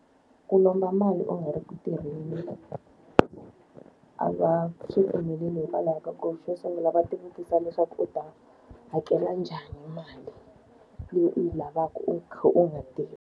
Ku lomba mali u nga ri ku tirheni. A va swi pfumeleli hikwalaho ka ku xo sungula va ti vutisa leswaku u ta hakela njhani mali leyi u yi lavaka u kha u nga tirhi.